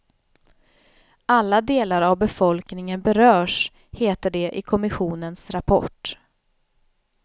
Alla delar av befolkningen berörs, heter det i kommissionens rapport.